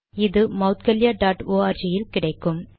இது Maudgalya dot O R G இல் கிடைக்கும்